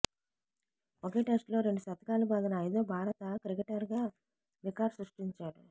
ఒకే టెస్టులో రెండు శతకాలు బాదిన ఐదో భారత క్రికెటర్గా రికార్డు సృష్టించాడు